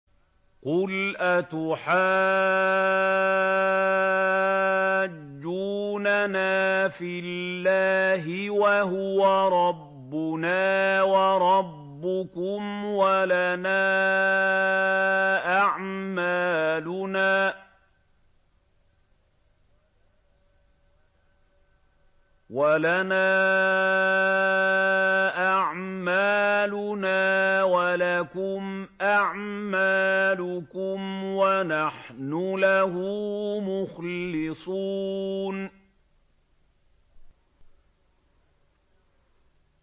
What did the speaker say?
قُلْ أَتُحَاجُّونَنَا فِي اللَّهِ وَهُوَ رَبُّنَا وَرَبُّكُمْ وَلَنَا أَعْمَالُنَا وَلَكُمْ أَعْمَالُكُمْ وَنَحْنُ لَهُ مُخْلِصُونَ